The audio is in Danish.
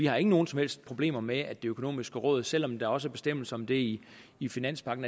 har nogen som helst problemer med at det økonomiske råd selv om der også er bestemmelser om det i finanspagten